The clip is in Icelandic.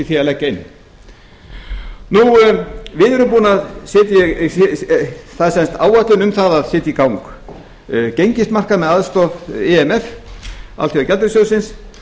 í því að leggja inn við erum búin að það er sem sagt áætlun um að setja í gang gengismarkað með aðstoð eins alþjóðagjaldeyrissjóðsins